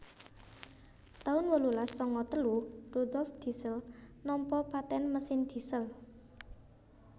taun wolulas sanga telu Rudolf Diesel nampa paten mesin diesel